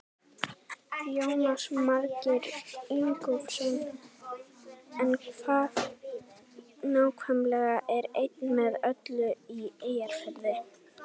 Jónas Margeir Ingólfsson: En hvað nákvæmlega er Ein með öllu í Eyjafirði?